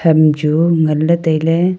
ham chu ngan le taile.